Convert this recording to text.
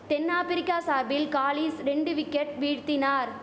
தென்னாப்ரிக்கா சார்பில் காலிஸ் ரெண்டு விக்கெட் வீழ்த்தினார்